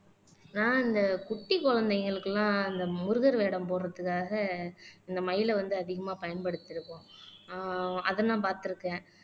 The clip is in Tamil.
ஆஹ் இந்த குட்டி குழந்தைகளுக்கு எல்லாம் இந்த முருகர் வேடம் போடுறதுக்காக இந்த மயிலை வந்து அதிகமா பயன்படுத்தி இருக்கோம் ஆஹ் அதை நான் பார்த்திருக்கேன்